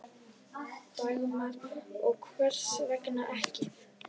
Dagmar: Og hvers vegna ekki?